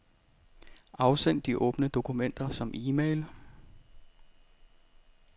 Afsend de åbne dokumenter som e-mail.